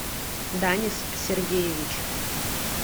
данис сергеевич